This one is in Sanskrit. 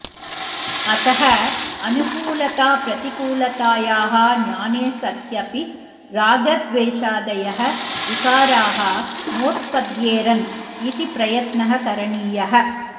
अतः अनुकूलताप्रतिकूलतायाः ज्ञाने सत्यपि रागद्वेषादयः विकाराः नोत्पद्येरन् इति प्रयत्नः करणीयः